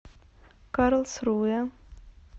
карлсруэ